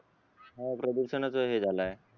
हा प्रदूषणच हे झालाय